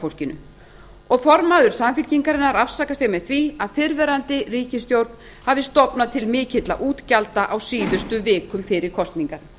fólkinu og formaður samfylkingarinnar afsakaði sig með því að fyrrverandi ríkisstjórn hafi stofnað til svo mikilla útgjalda á síðustu vikum fyrir kosningar